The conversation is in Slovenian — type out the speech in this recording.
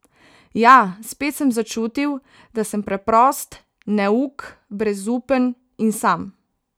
Ja, spet sem začutil , da sem preprost , neuk , brezupen in sam!